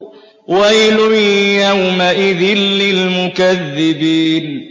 وَيْلٌ يَوْمَئِذٍ لِّلْمُكَذِّبِينَ